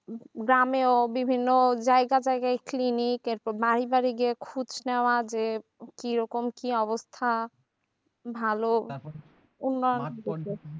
গ্রামেও বিভিন্ন জায়গা জায়গায় clinic এরপর বাড়ি বাড়ি গিয়ে খুচ নেওয়া যে কিরকম কি অবস্থা ভালো